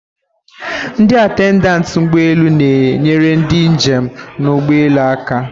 Ndị atendentị ụgbọ elu na-enyere ndị njem nọ na ugbọelu aka.